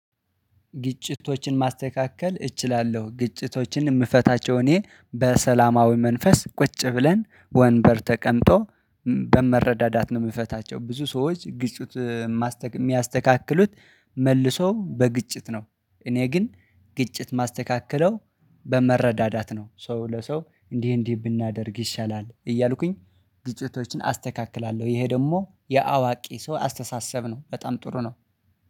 ግጭቶችን ማስተካከል እችላለሁ ግጭቶችን ምፈታቸው እኔ በሰላማዊ መንፈስ ቁጭ ብለን ወንበር ተቀምጦ እም በመረዳዳት ነው ምፈታቸው ብዙ ሰዎች ግጭት ማስተ ሚያስተካክሉት መልሶ በግጭት ነው። እኔ ግን ግጭት ማስተካከለው በመረዳዳት ነው ሰው ለሰው እንዲህ እንዲህ ብናደርግ ይሻላል እያልኩኝ። ግጭቶችን አስተካክላለሁ ይሄ ደሞ የአዋቂ ሰው አስተሳሰብ ነው በጣም ጥሩ ነው